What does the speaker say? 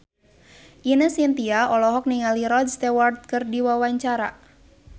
Ine Shintya olohok ningali Rod Stewart keur diwawancara